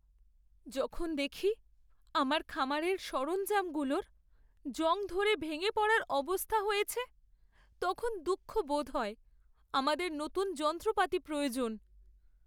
যখন দেখি আমার খামারের সরঞ্জামগুলোর জং ধরে ভেঙে পড়ার অবস্থা হয়েছে, তখন দুঃখ বোধ হয়। আমাদের নতুন যন্ত্রপাতি প্রয়োজন।